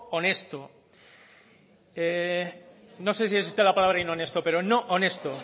honesto no sé si existe la palabra inhonesto pero no honesto